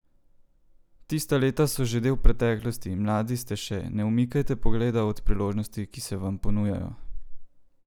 Tista leta so že del preteklosti, mladi ste še, ne umikajte pogleda od priložnosti, ki se vam ponujajo!